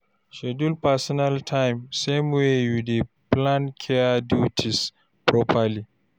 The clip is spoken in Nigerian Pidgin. Schedule personal time same way you dey plan care duties properly.